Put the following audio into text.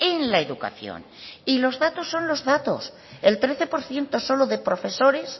en la educación y los datos son los datos el trece por ciento solo de profesores